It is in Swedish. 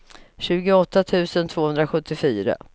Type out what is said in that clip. tjugoåtta tusen tvåhundrasjuttiofyra